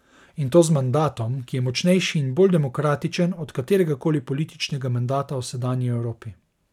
In to z mandatom, ki je močnejši in bolj demokratičen od kateregakoli političnega mandata v sedanji Evropi.